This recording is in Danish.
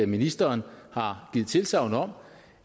ministeren har givet tilsagn om